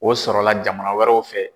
O sɔrɔ la jamana wɛrɛw fɛ.